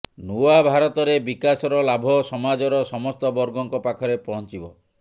ନୂଆ ଭାରତରେ ବିକାଶର ଲାଭ ସମାଜର ସମସ୍ତ ବର୍ଗଙ୍କ ପାଖରେ ପହଂଚିବ